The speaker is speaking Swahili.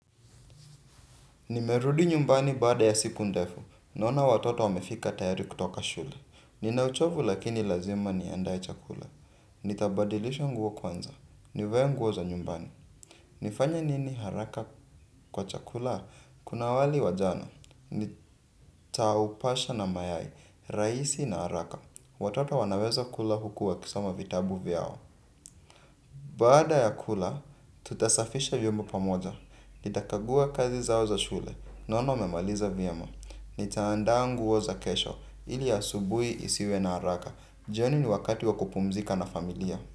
Nimerudi nyumbani baada ya siku ndefu. Naona watoto wamefika tayari kutoka shule. Nina uchovu lakini lazima niandae chakula. Nitabadilisha nguo kwanza. Nivae nguo za nyumbani. Nifanya nini haraka kwa chakula? Kuna wali wa jana. Nitaupasha na mayai. Raisi na haraka. Watoto wanaweza kula huku wakisoma vitabu vyao. Baqda ya kula, tutasafisha vyombo pamoja, nitakagua kazi zao za shule, naono wamemaliza vyema, nitaandaa nguo za kesho, ili asubuhi isiwe na haraka, joni ni wakati wa kupumzika na familia.